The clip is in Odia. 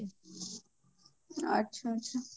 ଆଚ୍ଛା ଆଚ୍ଛା